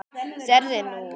Sérðu nú?